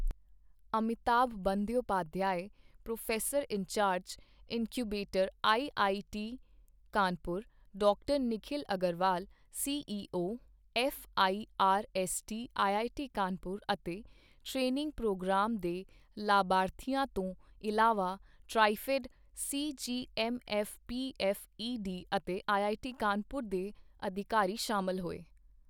Amitabh Bandyopadhyay, professor in charge, incubator IIT Kanpur doctor Nikhil Agarwal, CEO, FIRST IIT Kanpur ਅਤੇ training program ਦੇ ਲਾਭਾਰਥੀਆਂ ਤੋਂ ਇਲਾਵਾ ਟ੍ਰਾਈਫੈੱਡ, ਸੀਜੀਐੱਮਐੱਫਪੀਐੱਫਈਡੀ, ਅਤੇ ਆਈਆਈਟੀ ਕਾਨਪੁਰ ਦੇ ਅਧਿਕਾਰੀ ਸ਼ਾਮਲ ਹੋਏ।